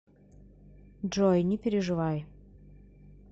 джой не переживай